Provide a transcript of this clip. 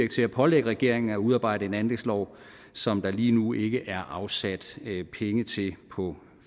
kan pålægge regeringen at udarbejde en anlægslov som der lige nu ikke er afsat penge til på